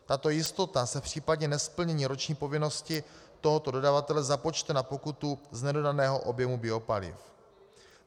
Tato jistota se v případě nesplnění roční povinnosti tohoto dodavatele započte na pokutu z nedodaného objemu biopaliv.